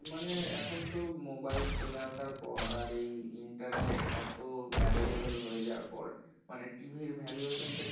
এখন তো মোবাইল চলে আসার পর আর এই internet এত available হয়ে যাওয়ার পর মানে TV র valuation টা কিন্তু